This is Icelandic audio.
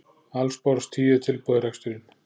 Alls bárust tíu tilboð í reksturinn